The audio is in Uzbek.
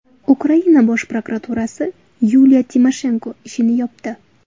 Ukraina bosh prokuraturasi Yuliya Timoshenko ishini yopdi.